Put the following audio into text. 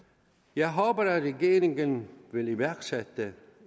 jeg håber at regeringen vil iværksætte